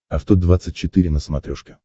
авто двадцать четыре на смотрешке